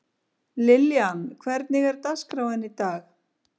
Liljan, hvernig er dagskráin í dag?